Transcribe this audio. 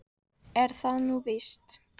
Er það nú víst?